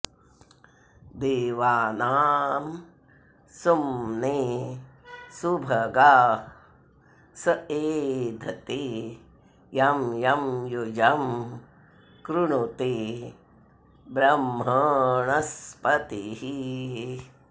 दे॒वानां॑ सु॒म्ने सु॒भगः॒ स ए॑धते॒ यंयं॒ युजं॑ कृणु॒ते ब्रह्म॑ण॒स्पतिः॑